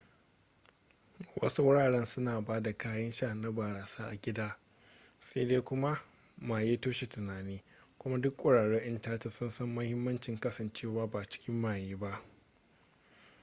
wasu wuraren suna ba da kayan sha na barasa a gidan sai dai kuma maye toshe tunani kuma duk ƙwararrun 'yan caca sun san mahimmancin kasancewa ba cikin maye ba